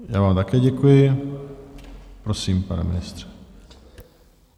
Já vám také děkuji, prosím, pane ministře.